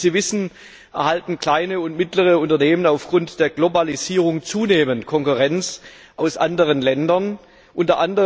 Wie Sie wissen, erhalten kleine und mittlere Unternehmen aufgrund der Globalisierung zunehmend Konkurrenz aus anderen Ländern, u.